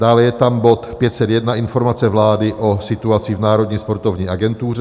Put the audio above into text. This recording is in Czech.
Dále je tam bod 501, Informace vlády o situaci v Národní sportovní agentuře.